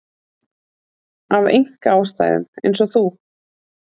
Af einkaástæðum eins og þú.